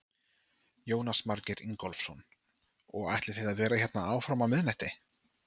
Jónas Margeir Ingólfsson: Og ætlið þið að vera hérna áfram fram á miðnætti?